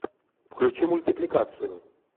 включи мультипликацию